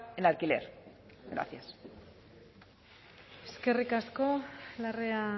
en alquiler gracias eskerrik asko larrea